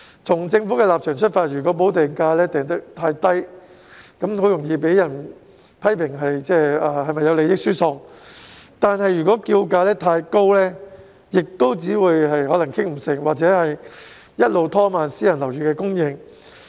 從政府的立場出發，如果補地價訂得過低，很容易被批評有利益輸送之嫌；如果訂價太高，又可能導致無法達成共識，以致拖延私人樓宇的供應。